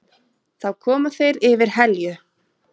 Þá koma þeir yfir Helju.